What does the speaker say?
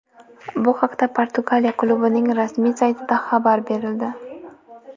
Bu haqda Portugaliya klubining rasmiy saytida xabar berildi .